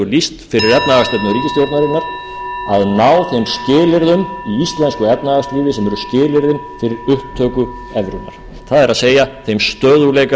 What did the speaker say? lýst fyrir efnahagsstefnu ríkisstjórnarinnar að ná þeim skilyrðum í íslensku efnahagslífi sem eru skilyrðin fyrir upptöku evrunnar það er þeim stöðugleika sem okkur hefur nú allt of lengi skort